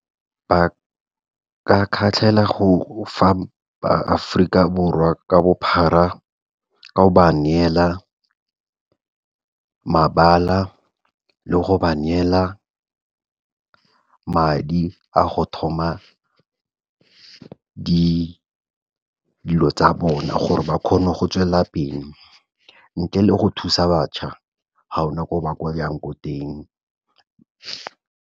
Ba ka kgatlhegela go fa baAforika Borwa ka bophara ka go ba neela mabala le go ba neela madi a go thoma dilo tsa bona gore ba kgone go tswela pele, ntle le go thusa batjha gaona ko ba ko yang ko teng.